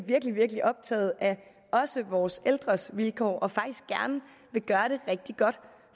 virkelig virkelig optagede af vores ældres vilkår og faktisk gerne vil gøre det rigtig godt